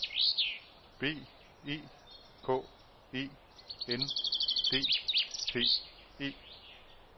B E K E N D T E